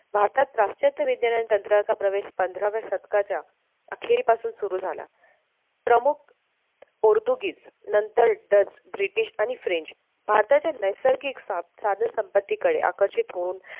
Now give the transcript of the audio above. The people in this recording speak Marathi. भारतात प्राश्चात्य विज्ञान तंत्राचा प्रवेश पंधराव्या शतकाच्या अखेरीपासून सुरु झाला प्रमुख पोर्तुगीज नंतर डच ब्रिटिश आणि फ्रेंच भारताच्या नैसर्गिक साधन संपत्ती कडे आकर्षित होऊन